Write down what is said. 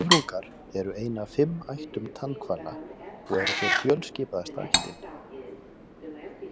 Höfrungar eru ein af fimm ættum tannhvala og eru þeir fjölskipaðasta ættin.